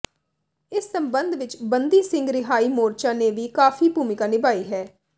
ਇਸ ਸਬੰਦ ਵਿੱਚ ਬੰਦੀ ਸਿੰਘ ਰਿਹਾਈ ਮੋਰਚਾ ਨੇ ਵੀ ਕਾਫੀ ਭੂਮਿਕਾ ਨਿਭਾਈ ਹੈ